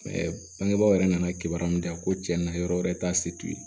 bangebaaw yɛrɛ nana kibaruya minnu di yan ko cɛ na yɔrɔ wɛrɛ ta se t'u ye